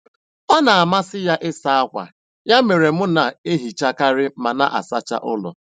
Ọ na amasị ya ịsa akwa, ya mere mụ na ehichakari ma na asacha ụlọ